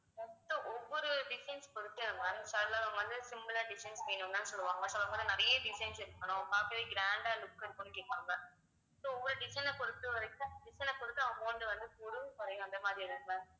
ஒவ்வொரு design பொறுத்து ma'am சிலவங்க வந்து simple ஆ design வேணும்னுதான் சொல்லுவாங்க, சொல்லப்போனா நிறைய designs இருக்கணும் பார்க்கவே grand ஆ look இருக்கும்னு கேட்பாங்க so ஒவ்வொரு design அ பொறுத்தவரைக்கும் design அ பொறுத்து amount வந்து கூடும் குறையும் அந்த மாதிரி இருக்கும் ma'am